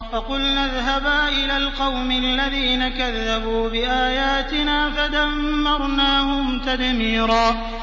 فَقُلْنَا اذْهَبَا إِلَى الْقَوْمِ الَّذِينَ كَذَّبُوا بِآيَاتِنَا فَدَمَّرْنَاهُمْ تَدْمِيرًا